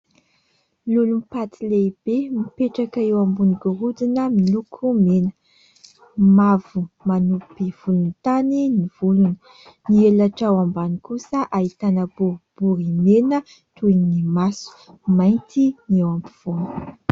Lolompaty lehibe mipetraka eo ambon'ny gorodona miloko mena, mavo manopy volontany ny volony, ny helatra ao ambany kosa ahitana boribory mena toy ny maso, mainty ny eo ampovoany.